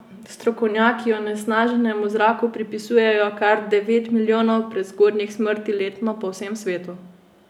Strokovnjaki onesnaženemu zraku pripisujejo kar devet milijonov prezgodnjih smrti letno po vsem svetu.